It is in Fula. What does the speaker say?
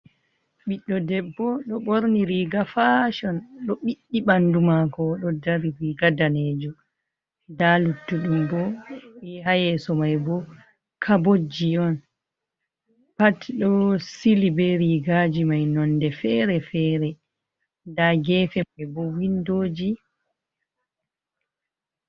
Ɓiɗdo debbo do borni riga fashon, do ɓiddi bandu mako, odo dari. Riga danejum. nda luttudum bo hayeso mai bo kabotjiboji on pat do sili be rigaji mai nonde fere-fere. nda gefe mai bo windoji.